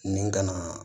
Nin kana